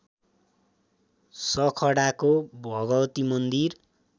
सखडाको भगवती मन्दिर